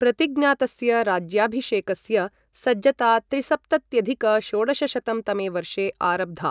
प्रतिज्ञातस्य राज्याभिषेकस्य सज्जता त्रिसप्तत्यधिक षोडशशतं तमे वर्षे आरब्धा।